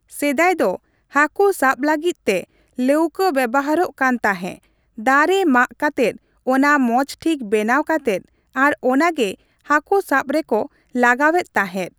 ᱥᱮᱫᱟᱭ ᱫᱚ ᱦᱟᱹᱠᱩ ᱥᱟᱵ ᱞᱟᱹᱜᱤᱫ ᱛᱮ ᱞᱟᱹᱣᱠᱟᱹ ᱵᱮᱣᱦᱟᱨᱚᱜ ᱠᱟᱱ ᱛᱟᱦᱮᱸ ᱫᱟᱨᱮ ᱢᱟᱜ ᱠᱟᱛᱮᱫ ᱚᱱᱟ ᱢᱚᱡᱽ ᱴᱷᱤᱠ ᱵᱮᱱᱟᱣ ᱠᱟᱛᱮᱫ ᱟᱨ ᱚᱱᱟ ᱜᱮ ᱦᱟᱹᱠᱩ ᱥᱟᱵ ᱨᱮᱠᱚ ᱞᱟᱜᱟᱣ ᱮᱫ ᱛᱟᱦᱮᱸᱫ᱾